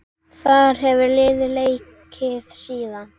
Þar hefur liðið leikið síðan.